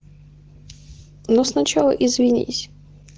но сначала извинись